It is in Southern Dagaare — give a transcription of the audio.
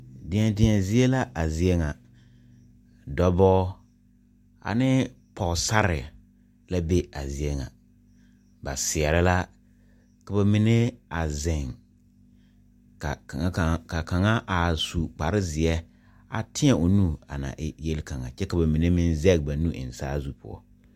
Deɛ deɛ zie la a zie ŋa dɔbɔɔ anee pɔɔsarre la be a zie ŋa ba seɛɛrɛ la ka ba mine a zeŋ ka kaŋa are su kpare zeɛ a tēɛ o nu a e yelkaŋa kyɛ ka ba mine meŋ zege ba nu eŋ saazu eŋɛ.